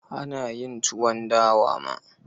Ana yin tuwon dawa ma.